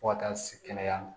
Fo ka taa se kɛnɛya ma